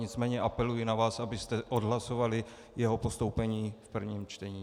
Nicméně apeluji na vás, abyste odhlasovali jeho postoupení v prvním čtení.